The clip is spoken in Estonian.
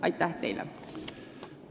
Aitäh teile!